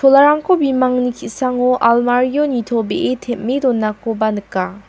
bimangni ki·sango almario nitobee tem·e donakoba nika.